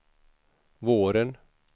våren